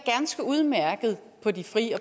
ganske udmærket på de frie